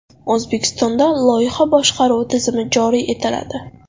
O‘zbekistonda loyiha boshqaruvi tizimi joriy etiladi.